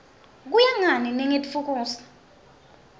kuya ngani ningitfukusa